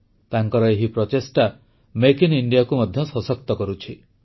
ତାଙ୍କର ଏହି ପ୍ରଚେଷ୍ଟା ମେକ୍ ଆଇଏନ ଇଣ୍ଡିଆ ଗବଳର ସଦ୍ଭ ଓଦ୍ଭୟସବକୁ ମଧ୍ୟ ସଶକ୍ତ କରୁଛି